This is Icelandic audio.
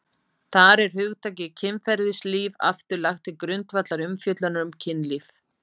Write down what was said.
þar er hugtakið kynferðislíf aftur lagt til grundvallar umfjöllunar um kynlíf